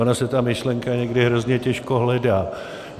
Ona se ta myšlenka někdy hrozně těžko hledá.